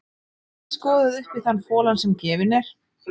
Ekki er skoðað upp í þann folann sem gefinn er.